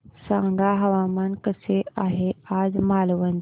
सांगा हवामान कसे आहे आज मालवण चे